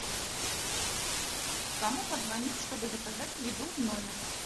кому позвонить чтобы заказать еду в номер